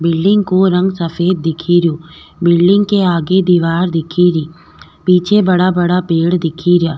Building को रंग सफेद दिखरियो बिल्डिंग के आगे दिवार दिखेरी पीछे बड़ा बड़ा पेड़ दिखरिया।